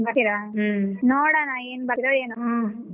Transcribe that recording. ಬರ್ತೀರಾ ನೋಡೋಣ ಏನ್ ಬರ್ತೀರೊ ಏನೊ .